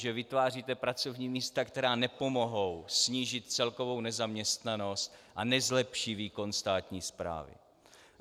Že vytváříte pracovní místa, která nepomohou snížit celkovou nezaměstnanost a nezlepší výkon státní správy.